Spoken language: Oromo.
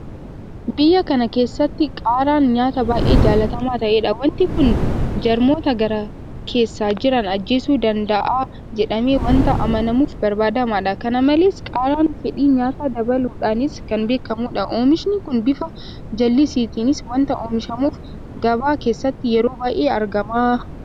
Biyya kana keessatti Qaaraan nyaata baay'ee jaalatamaa ta'edha. Waanti kun jarmoota garaa keessa jiran ajjeesuu danda'a jedhamee waanta amanamuuf barbaadamaadha. Kana malees Qaaraan fedhii nyaataa dabaluudhaanis kan beekamudha. Oomishni kun bifa jallisiitiinis waanta oomishamuuf gabaa keessatti yeroo baay'ee argama.